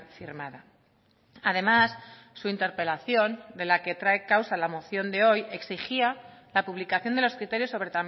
firmada además su interpelación de la que trae causa la moción de hoy exigía la publicación de los criterios sobre